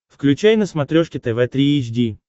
включай на смотрешке тв три эйч ди